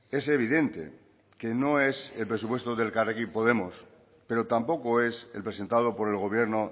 es evidente que no es el presupuesto del elkarrekin podemos pero tampoco es el presentado por el gobierno